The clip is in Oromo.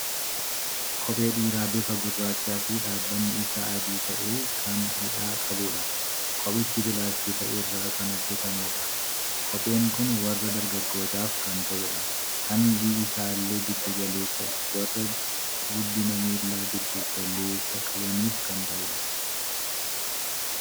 Kophee dhiiraa bifa gurraachaa fi dhaabbanni isaa adii ta'e, kan hidhaa qabuudha. Kophichi pilaastika irraa kan hojjatameedha. Kopheen kun warra dargaggootaaf kan ta'uudha. Hangi isaallee giddu galeessaadha. Warra guddina miilaa giddu galeessa qabaniif kan ta'udha.